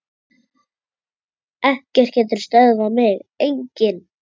Ekkert getur stöðvað mig, enginn.